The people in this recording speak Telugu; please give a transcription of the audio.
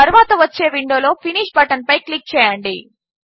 తరువాత వచ్చే విండోలో ఫినిష్ బటన్పై క్లిక్ చేయండి